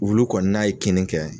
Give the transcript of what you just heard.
Wulunkɔni n'a ye kinni kɛ